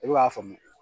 I bɛ k'a faamu